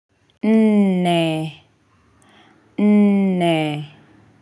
Ee ee.